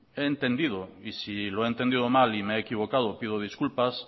he entendido y si lo he entendido mal y me he equivocado pido disculpas